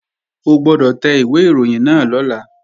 O gbọ́dọ̀ tẹ ìwé ìròyìn náà lọ́la!